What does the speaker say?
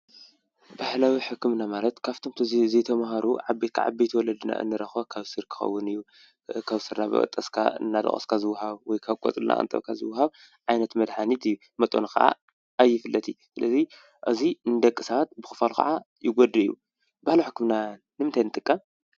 ባህላዊ ሕክምና ማለት ካብቶም ዘይተምሃሩ ዓበይቲ ዓበይቲ ወለድና እንረክቦ ካብ ሱር ክከዉን እዩ ካብ ሱር እናበጠስካ እናደቘስካ ዝዉሃብ ወይ ካብ ቆጽሊ እናቀንጠብካ ዝውሃብ ዓይነት መድሓኒት እዩ ፤መጠኑ ከዓ ኣይፍለጥን ስለዚ እዚ ንደቂሰባት ብክፋሉ ከዓ ይጎድእ እዩ። ባህላዊ ሕክምና ንምንታይ ንጥቀም ?